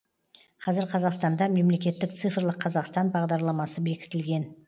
қазір қазақстанда мемлекеттік цифрлық қазақстан бағдарламасы бекітілген